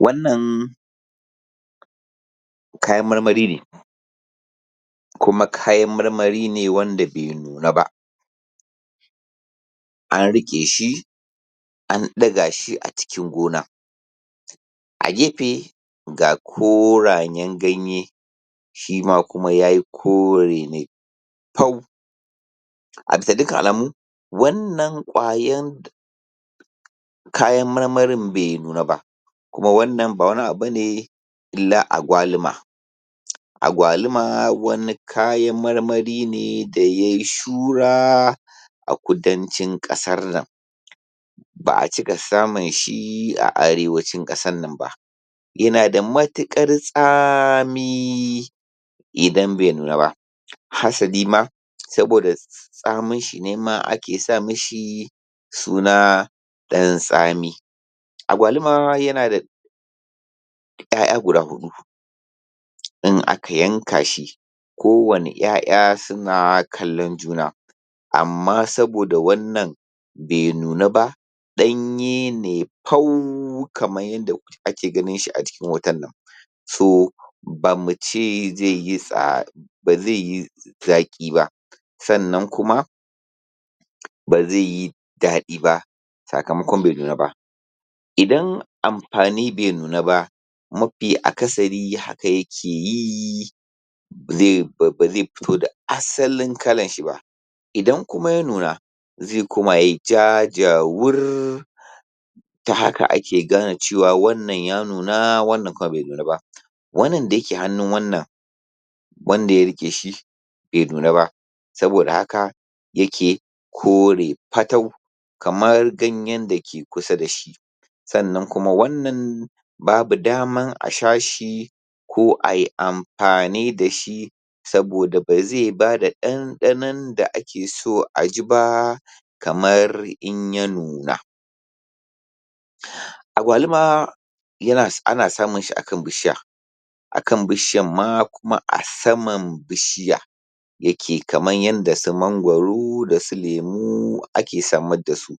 Wannan kayan marmari ne, kuma kayan marmari ne wanda bai nuna ba, an riƙe shi an ɗaga shi a cikin gona, a gefe ga korayen ganye shima kuma ya yi kore ne tau, absa dukkan alamu wannan ƙwayar kayan marmarin bai nuna ba kuma wannan ba wani abu bane illa agwalima, agwalima wani kayan marmari ne da ya yi suna a kudancin ƙasar nan, ba a cika samun shi a arewacin ƙasarnan ba, ya na da matuƙar tsami idan bai nuna ba, hasalima saboda tsaminshi ne ma ake sa ma shi suna ɗan tsami, agwalima ya na da 'ya'ya guda huɗu in aka yanka shi kowane 'ya'ya su na kallon juna, amma saboda wannan bai nuna ba ɗanye ne fau kaman yanda ake ganin shi a jikin hotonnan, so... ba mu ce zai yi tsa... ba zai yi zaƙi ba, sannan kuma ba zai yi daɗi ba, sakamakon bai nuna ba idan amfani bai nuna ba mafi akasari haka ya ke yi ba zai fito da asalin kalarshi ba, idan kuma ya nuna zai koma yai ja jawur ta haka ake gane ce wa wannan ya nuna wannan kuma bai nuna ba, wannan da yake hannun wannan wanda ya riƙe shi bai nuna ba saboda haka ya ke kore fatau kamar ganyen da ke kusa da shi, sannan kuma wannan babu daman a sha shi ko ai amfani da shi, saboda ba zai bada ɗanɗanon da ake so a ji ba kamar in ya nuna, agwalima ana samun shi a kan bishiya akan bishiyar ma kuma a saman bishiya ya ke kamar yanda su magwaro da su lemu ake samar da su,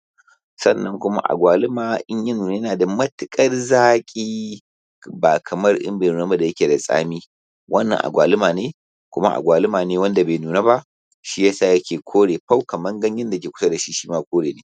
sannan kuma agwalima in ya nuna ya na da matuƙar zaƙi, ba kamar in bai nuna ba da ya ke da tsami wannan agwalima ne wannan agwalima ne kuma agwalima ne wanda bai nuna ba, shiyasa ya ke kore fau kamar ganyen da ya ke kusa da shi, shima kore ne.